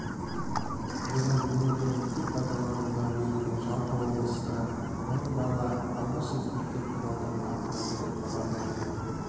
бүгін өңірде мектеп пайдануға беріліп жалпы облыста мың бала алғаш рет мектеп табалдырығын аттады деп хабарлайды